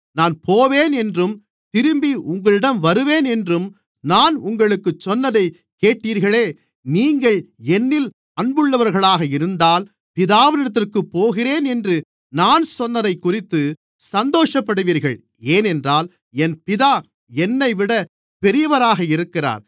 நான் போவேன் என்றும் திரும்பி உங்களிடம் வருவேன் என்றும் நான் உங்களுக்குச் சொன்னதைக் கேட்டீர்களே நீங்கள் என்னில் அன்புள்ளவர்களாக இருந்தால் பிதாவினிடத்திற்குப் போகிறேன் என்று நான் சொன்னதைக்குறித்துச் சந்தோஷப்படுவீர்கள் ஏனென்றால் என் பிதா என்னைவிட பெரியவராக இருக்கிறார்